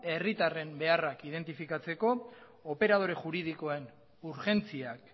herritarren beharrak identifikatzeko operadore juridikoen urgentziak